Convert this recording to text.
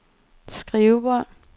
skrivebord